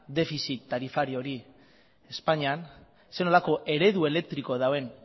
defizit tarifario hori espainian zer nolako eredu elektrikoa duen